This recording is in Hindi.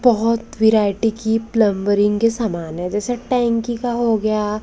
बहोत वैरायटी की प्लंबरिंग के समान है जैसे टैंकी का हो गया।